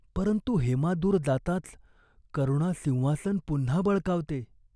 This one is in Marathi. परंतु हेमा दूर जाताच करुणा सिंहासन पुन्हा बळकावते.